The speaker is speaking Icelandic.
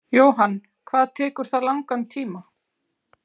Jóhann: Hvað tekur það langan tíma?